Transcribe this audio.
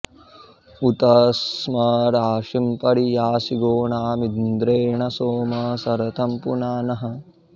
उत स्म राशिं परि यासि गोनामिन्द्रेण सोम सरथं पुनानः